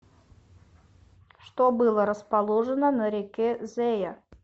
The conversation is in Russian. что было расположено на реке зея